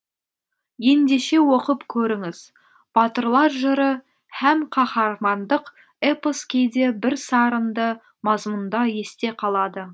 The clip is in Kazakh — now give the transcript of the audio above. ендеше оқып көріңіз батырлар жыры һәм қаһармандық эпос кейде бірсарынды мазмұнда есте қалады